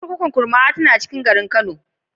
Kurkukun Kurmawa tana cikin garin Kano.